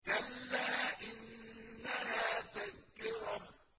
كَلَّا إِنَّهَا تَذْكِرَةٌ